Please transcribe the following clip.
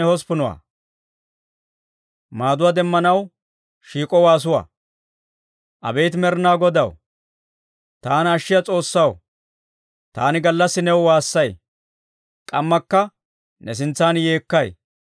Abeet Med'inaa Godaw, taana ashshiyaa S'oossaw, taani gallassi new waassay; k'ammakka ne sintsan yeekkay.